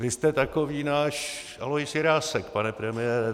Vy jste takový náš Alois Jirásek, pane premiére.